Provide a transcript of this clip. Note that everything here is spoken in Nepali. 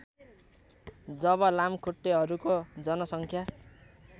जब लामखुट्टेहरूको जनसङ्ख्या